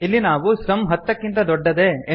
ಇಲ್ಲಿ ನಾವು ಸಮ್ ಹತ್ತಕ್ಕಿಂತ ದೊಡ್ಡದೇ